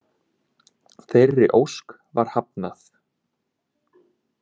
Þeirri ósk var hafnað